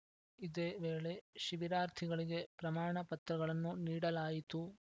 ಇದೇ ವೇಳೆ ಶಿಬಿರಾರ್ಥಿಗಳಿಗೆ ಪ್ರಮಾಣ ಪತ್ರಗಳನ್ನು ನೀಡಲಾಯಿತು